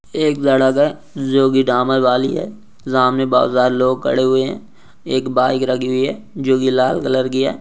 एक जो की डामर वाली है सामने बहुत सारे लोग खड़े हुए है एक बाइक रखी हुई है जो की लाल कलर की है।